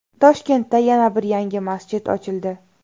Toshkentda yana bir yangi masjid ochildi .